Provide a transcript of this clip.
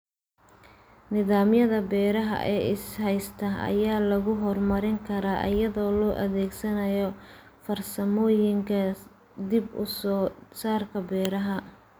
Nidaamyada beeraha ee is haysta ayaa lagu horumarin karaa iyadoo la adeegsanayo farsamooyinka dib-u-soo-saarka beeraha.